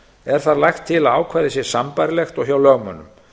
er þar lagt til að ákvæðið sé sambærilegt og hjá lögmönnum